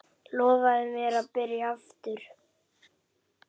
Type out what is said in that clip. Lofaðu mér að byrja aftur!